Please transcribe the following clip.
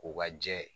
Ko ka jɛ